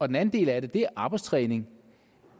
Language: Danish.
den anden del af det er arbejdstræning